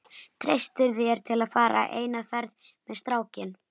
Treystirðu þér til að fara eina ferð með strákinn?